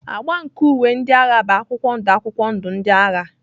Agba nke uwe ndị agha bụ akwụkwọ ndụ akwụkwọ ndụ ndị agha.